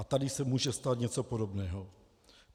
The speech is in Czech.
A tady se může stát něco podobného.